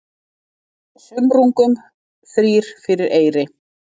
Af sumrungum þrír fyrir eyri.